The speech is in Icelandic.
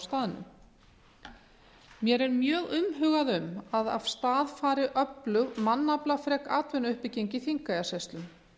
staðnum mér er mjög umhugað um að af stað fari öflug mannaflafrek atvinnuuppbygging í þingeyjarsýslum